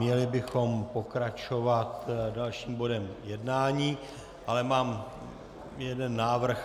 Měli bychom pokračovat dalším bodem jednání, ale mám jeden návrh.